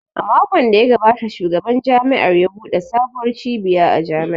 A makon da ya gabata Shugaban Jami’ar ya buɗe sabuwar cibiya a Jami’ar